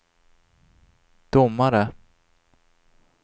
domare